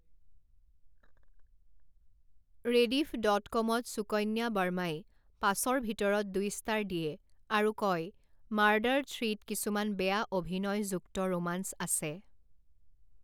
Rediff dot কমত সুকন্যা বাৰ্মাই পাঁচৰ ভিতৰত দুই ষ্টাৰ দিয়ে আৰু কয়, মাৰ্ডাৰ থ্ৰীত কিছুমান বেয়া অভিনয়যুক্ত ৰোমাঞ্চ আছে।